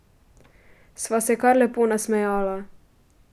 Sva se kar lepo nasmejala.